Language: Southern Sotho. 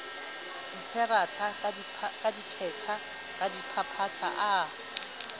diterata ka dipeta radiphaphatha a